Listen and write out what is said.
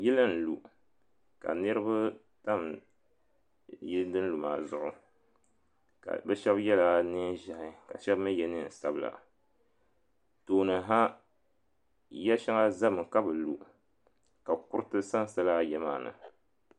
Yili n lu ka niriba tam yili din lu maa zuɣu ka bɛ shɛba yela niɛn ʒehi ka bɛ shɛba mi ye niɛn sabla tooni ha ya shaŋa zami ka bi lu ka kuriti sansa lala ya maa ni.